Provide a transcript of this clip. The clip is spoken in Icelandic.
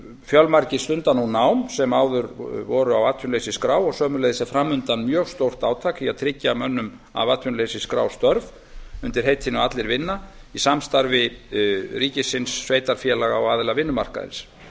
fjölmargir stunda nú nám sem áður voru á atvinnuleysisskrá og sömuleiðis er fram undan mjög stórt átak í að tryggja mönnum af atvinnuleysisskrá störf undir heitinu allir vinna í samstarfi ríkisins sveitarfélaga og aðila vinnumarkaðarins